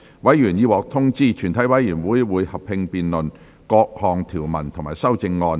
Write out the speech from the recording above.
委員已獲得通知，全體委員會會合併辯論各項條文及修正案。